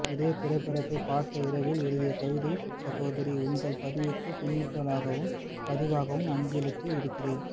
இதே திரைப்படத்தை பார்த்த இரவில் எழுதிய கவிதை சகோதரி உங்கள் பதிவுக்கு பின்னூட்டமாகவும் பதிவாகவும் அஞ்சலிட்டு இருக்கிறேன்